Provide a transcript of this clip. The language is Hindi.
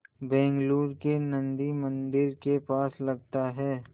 बेंगलूरू के नन्दी मंदिर के पास लगता है